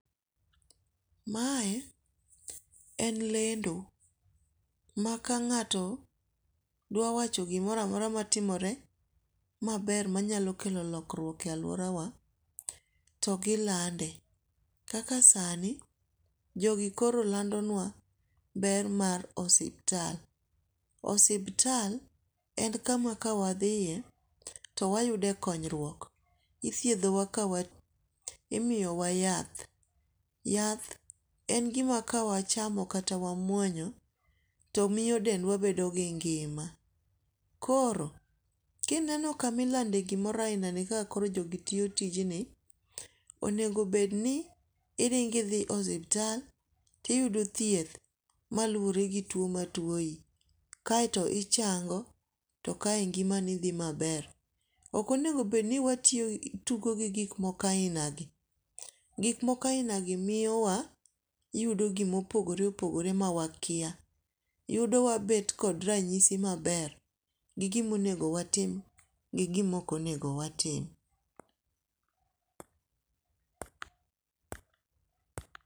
Mae en lendo ma ka ng.ato dawa wacho gimoro amora matimore maber manyalo kelo lokwruok e aluora wa togilande. Kaka sani jogi koro landonwa ber mar osiptal. Osiptal en kama ka wadhiye to wayude konyruok. Ithiedhowa imiyowa yath. Yath en gima ka wachamo kata wamuonyo to miyo dendwa bedo gi ngima. Koro, kineno kamilende gimoro ainani ka koro jogi tiyo tijni onego bed ni iringi dhi osiptal tiyuodo thieth malure gi tuo matuoyi kaeto inchango to kae ngimani dhi maber. Ok onego bed ni watugo gi gik moko ainagi. Gik moko ainagi miyowa yudo gimopogore opogore mawakia. Yudo wabet kod ranyisi maber, gi gimonego watem gi gimokonego watim.